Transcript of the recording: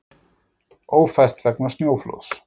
Ófært vegna snjóflóðs